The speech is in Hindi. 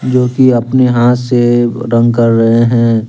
जो कि अपने हाथ से रंग के रहे हैं।